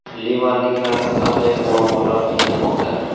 Livanliklarni qanday muammolar qiynamoqda?